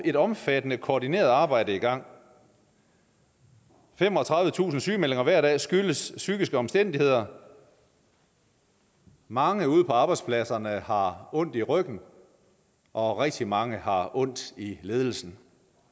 et omfattende koordineret arbejde i gang femogtredivetusind sygemeldinger hver dag skyldes psykiske omstændigheder mange ude på arbejdspladserne har ondt i ryggen og rigtig mange har ondt i ledelsen